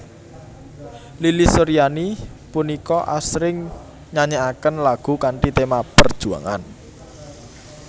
Lilis Suryani punika asring nyanyèkaken lagu kanthi tema perjuangan